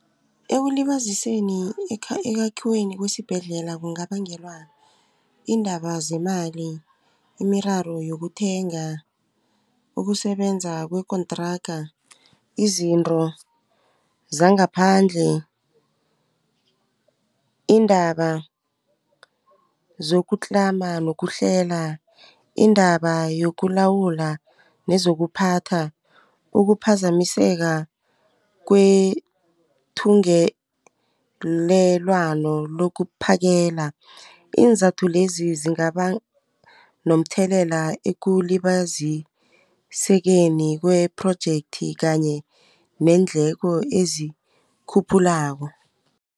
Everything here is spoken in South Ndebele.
Ekulibaziseni ekhwakhiweni kwesibhedlela kungabangelwa yiindaba zemali imiraro yokuthenga ukusebenza kwekontraga izinto zangaphandle iindaba zokutlama nokuhlela indaba yokulawula nezokuphatha ukuphazamiseka kwethungelelwano lokuphakela iinzathu lezi zingaba nomthelela ekulibazisekeni kwe-project kanye neendleko ezikhuphulako.